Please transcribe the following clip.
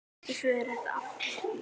Í föðurætt af